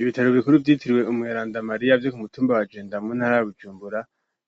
Ibitaro bikuru vyitiriwe umweranda Mariya vyo ku mutumba wa genda muntara ya Bujumbura